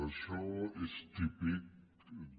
això és típic de